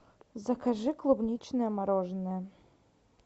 закажи клубничное мороженое